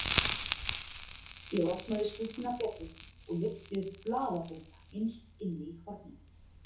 Ég opnaði skúffuna betur og lyfti upp blaðabunka innst inni í horninu.